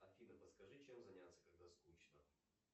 афина подскажи чем заняться когда скучно